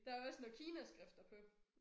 Der også noget kinaskrifter på